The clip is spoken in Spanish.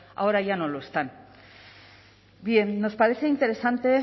ahora ya no lo están bien bien nos parece interesante